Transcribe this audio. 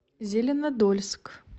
зеленодольск